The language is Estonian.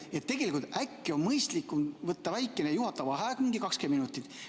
Tegelikult äkki on mõistlikum võtta väikene juhataja vaheaeg, umbes 20 minutit.